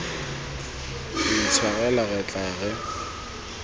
re itshwarela re tla re